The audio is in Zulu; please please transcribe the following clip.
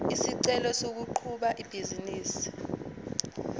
isicelo sokuqhuba ibhizinisi